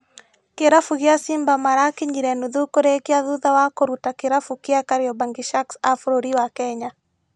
Kĩrabu gĩa Simba marakinyire nuthu kũrĩkia thutha wa kũruta kĩrabu gĩa kariobangi sharks a bũrũri wa Kenya.